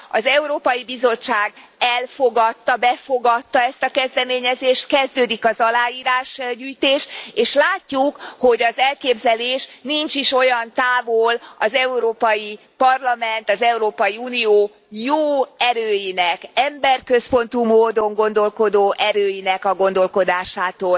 Az Európai Bizottság elfogadta, befogadta ezt a kezdeményezést, kezdődik az aláírásgyűjtés, és látjuk, hogy az elképzelés nincs is olyan távol az Európai Parlament, az Európai Unió jó erőinek, emberközpontú módon gondolkodó erőinek a gondolkodásától,